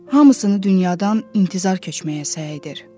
Hamısını dünyadan intizar köçməyə səy edir.